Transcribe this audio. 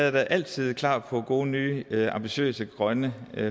at jeg altid er klar på gode nye ambitiøse grønne